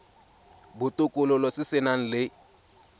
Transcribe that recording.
botokololo se se nang le